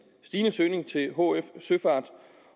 stigende søgning til hf søfart